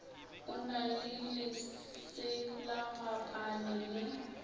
o na le leselagapane le